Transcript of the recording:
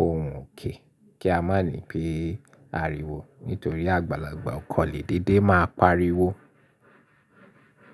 ohùn òkè kí a má ní pé ariwo nítorí àgbàlagbà ọ̀kọ̀lé dédé máa pariwo.